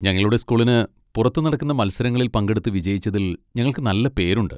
ഞങ്ങളുടെ സ്കൂളിന് പുറത്ത് നടക്കുന്ന മത്സരങ്ങളിൽ പങ്കെടുത്ത് വിജയിച്ചതിൽ ഞങ്ങൾക്ക് നല്ല പേരുണ്ട്.